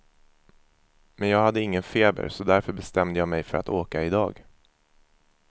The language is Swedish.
Men jag hade ingen feber så därför bestämde jag mig för att åka idag.